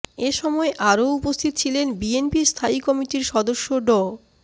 এ সময় আরও উপস্থিত ছিলেন বিএনপির স্থায়ী কমিটির সদস্য ড